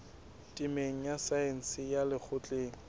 temeng ya saense ya lekgotleng